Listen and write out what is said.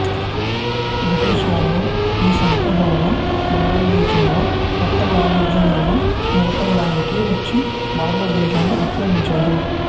British వాళ్ళు ఈ సంస్థ ద్వారా భారతదేశంలో వర్తక వాణిజ్యములను నెరపడానికి వచ్చి భారత దేశాన్ని ఆక్రమించారు